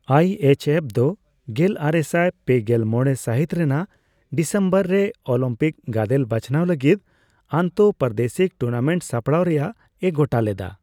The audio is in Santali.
ᱟᱭᱹ ᱮᱤᱪᱹᱮᱯᱷᱹ ᱫᱚ ᱜᱮᱞᱟᱨᱮᱥᱟᱭ ᱯᱮᱜᱮᱞ ᱢᱚᱲᱮ ᱥᱟᱦᱤᱛ ᱨᱮᱱᱟᱜ ᱰᱤᱥᱮᱢᱵᱚᱨ ᱨᱮ ᱚᱞᱤᱢᱯᱤᱠ ᱜᱟᱫᱮᱞ ᱵᱟᱪᱷᱱᱟᱣ ᱞᱟᱹᱜᱤᱫ ᱟᱱᱛᱚ ᱯᱨᱟᱫᱮᱥᱤᱠ ᱴᱩᱨᱱᱟᱢᱮᱱᱴ ᱥᱟᱯᱲᱟᱣ ᱨᱮᱭᱟᱜ ᱮ ᱜᱚᱴᱟ ᱞᱮᱫᱟ ᱾